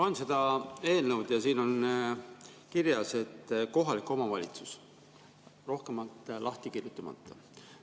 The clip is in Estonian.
Loen seda eelnõu ja siin on kirjas: kohalik omavalitsus, rohkem lahti kirjutamata.